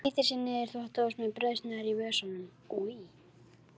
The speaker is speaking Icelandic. Hann flýtir sér niður í þvottahús með brauðsneiðar í vösunum.